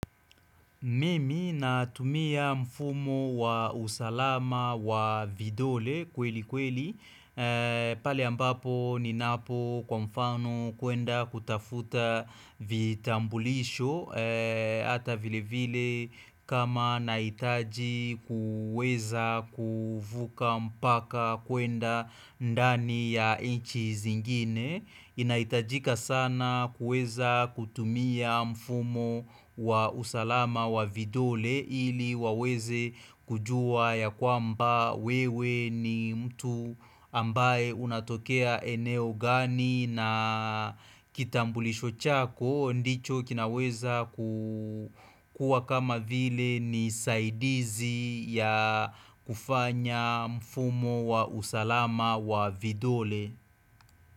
Mimi natumia mfumo wa usalama wa vidole kweli kweli pale ambapo ninapo kwa mfano kwenda kutafuta vitambulisho hata vile vile kama nahitaji kuweza kuvuka mpaka kwenda ndani ya nchi zingine inahitajika sana kuweza kutumia mfumo wa usalama wa vidole ili waweze kujua ya kwamba wewe ni mtu ambaye unatokea eneo gani na kitambulisho chako ndicho kinaweza kuwa kama vile ni saidizi ya kufanya mfumo wa usalama wa vidole.